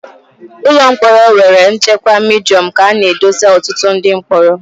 Ụlọ mkpọrọ nwere nchekwa Midiọm ka a na edesa ọtụtụ ndị mkpọrọ